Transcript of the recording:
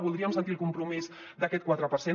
voldríem sentir el compromís d’aquest quatre per cent